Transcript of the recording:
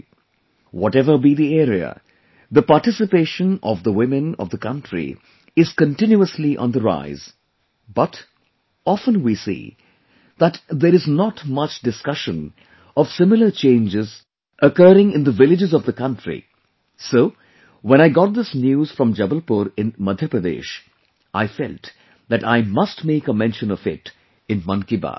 Whatever be the area, the participation of the women of the country is continuously on the rise, but, often we see that, there is not much discussion of similar changes occurring in the villages of the country, so, when I got this news from Jabalpur in Madhya Pradesh, I felt that I must make a mention of it in 'Mann Ki Baat'